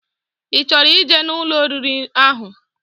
I choro ije na Ụlọ oriri ahu